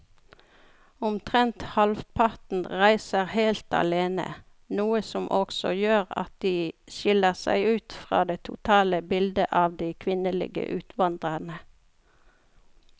Omtrent halvparten reiser helt alene, noe som også gjør at de skiller seg ut fra det totale bildet av de kvinnelige utvandrerne.